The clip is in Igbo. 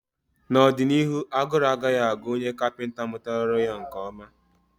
n'ọdịnihu, agụrụ agaghị agụ onye kapịnta mụtara ọrụ ya nke ọma.